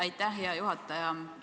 Aitäh, hea juhataja!